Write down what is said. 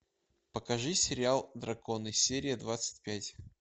покажи сериал драконы серия двадцать пять